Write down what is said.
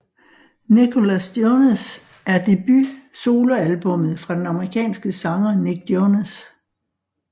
Nicholas Jonas er debut solo albummet fra den amerikanske sanger Nick Jonas